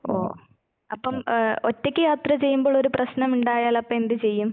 ഓ അപ്പം ഏഹ് ഒറ്റയ്ക്ക് യാത്ര ചെയ്യുമ്പോളൊരു പ്രശ്നമുണ്ടായാൽ അപ്പെന്ത് ചെയ്യും?